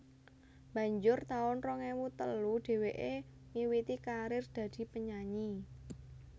Banjur taun rong ewu telu dheweké miwiti karir dadi penyanyi